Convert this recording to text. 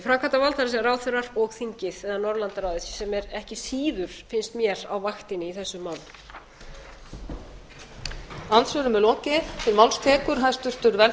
framkvæmdavald það er ráðherrar og þingið eða norðurlandaráðið sem er ekki síður finnst mér á vaktinni í þessu máli